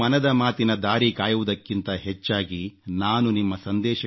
ನೀವು ಮನದ ಮಾತಿನ ದಾರಿ ಕಾಯುವುದಕ್ಕಿಂತ ಹೆಚ್ಚಾಗಿ ನಾನು ನಿಮ್ಮ